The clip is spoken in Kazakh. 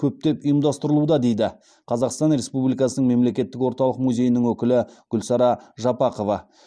көптеп ұйымдастырылуда дейді қазақстан республикасының мемлекеттік орталық музейінің өкілі гүлсара жапақова